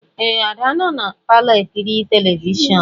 Ee, Ada nọ na palọ ekiri telivishọn